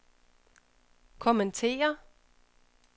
kommentere